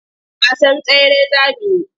Wasan tsere za mu yi?